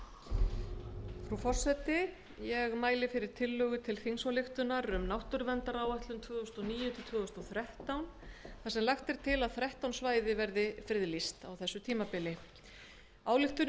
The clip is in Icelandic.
hæstvirtur forseti ég mæli hér fyrir tillögu til þingsályktunar um náttúruverndaráætlun tvö þúsund og níu til tvö þúsund og þrettán þar sem lagt er til að þrettán svæði verði friðlýst á þessu tímabili þingsályktunin hefur verið